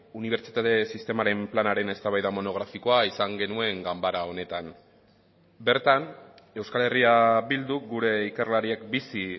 unibertsitate sistemaren planaren eztabaida monografikoa izan genuen ganbara honetan bertan euskal herria bilduk gure ikerlariek bizi